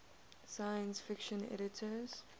science fiction editors